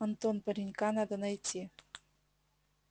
антон паренька надо найти